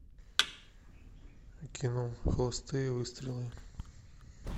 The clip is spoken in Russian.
кино холостые выстрелы